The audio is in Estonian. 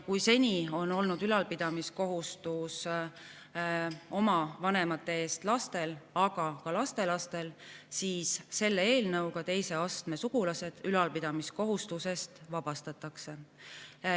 Kui seni on olnud oma vanemate ülalpidamise kohustus lastel, aga ka lastelastel, siis selle eelnõuga teise astme sugulased ülalpidamiskohustusest vabastatakse.